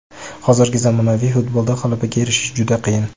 Hozirgi zamonaviy futbolda g‘alabaga erishish juda qiyin.